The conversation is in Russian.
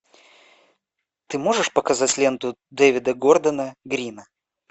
ты можешь показать ленту дэвида гордона грина